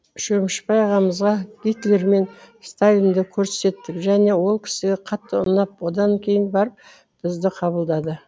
шөмішбай ағамызға гитлер мен сталинді көрсеттік және ол кісіге қатты ұнап содан кейін барып бізді қабылдады